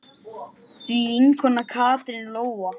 Þín vinkona Katrín Lóa.